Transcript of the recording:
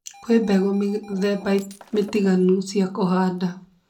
Kwĩ mbegũ mĩthemba mĩtiganu cia kũhanda